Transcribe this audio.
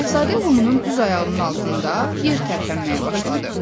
Şahzadə Lumunun düz ayağının altında yer tərpənməyə başladı.